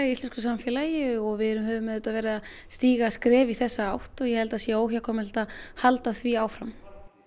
í íslensku samfélagi og við höfum auðvitað verið að stíga skref í þessa átt og ég held að það sé óhjákvæmilegt að halda því áfram